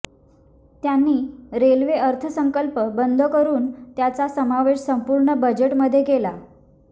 त्यांनी रेल्वे अर्थसंकल्प बंद करून त्याचा समावेश संपूर्ण बजेटमध्ये केला